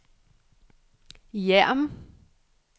Hjerm